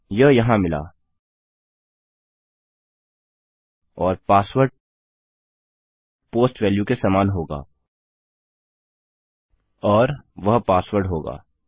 यह यहाँ मिला और पासवर्ड पोस्ट वेल्यू के समान होगा और और वह पासवर्ड होगा